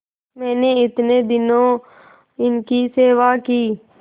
मैंने इतने दिनों इनकी सेवा की